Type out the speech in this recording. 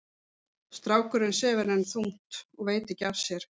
Strákurinn sefur enn þungt og veit ekki af sér.